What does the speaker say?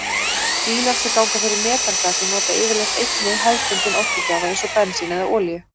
Bílar sem ganga fyrir metangasi nota yfirleitt einnig hefðbundinn orkugjafa eins og bensín eða olíu.